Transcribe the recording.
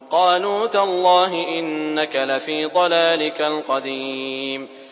قَالُوا تَاللَّهِ إِنَّكَ لَفِي ضَلَالِكَ الْقَدِيمِ